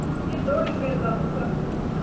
i ḓo lingedza u sa